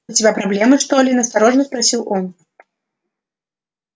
у тебя проблемы что ли настороженно спросил он